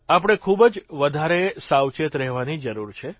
આપણે ખૂબ જ વધારે સાવચેત રહેવાની જરૂર છે